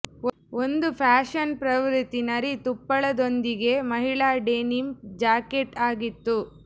ಒಂದು ಫ್ಯಾಶನ್ ಪ್ರವೃತ್ತಿ ನರಿ ತುಪ್ಪಳದೊಂದಿಗೆ ಮಹಿಳಾ ಡೆನಿಮ್ ಜಾಕೆಟ್ ಆಗಿತ್ತು